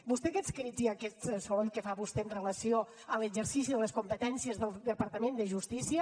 vostè aquests crits i aquest soroll que fa vostè amb relació a l’exercici de les competències del departament de justícia